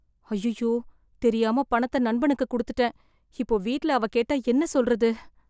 ஐயையோ தெரியாம பணத்த நண்பனுக்கு கொடுத்துட்டேன் இப்போ வீட்ல அவ கேட்டா என்ன சொல்றது